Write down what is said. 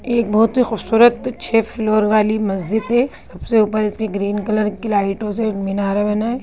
एक बहुत ही खूबसूरत छे फ्लोर वाली मस्जिद है सबसे ऊपर इसकी ग्रीन कलर की लाइटों से मिनार बना है।